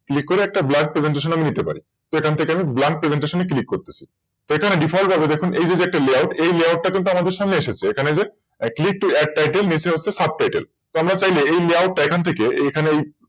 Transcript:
Click করে একটা BlankPresentation আমরা নিতে পারি। তো এখান থেকে আমরা BlankPresentation এ Click করছি তো এখানে Default হবে দেখুন এই যে দেখুন একটা Layout এই Layout এটা কিন্তু আমাদের সামনে এসেছে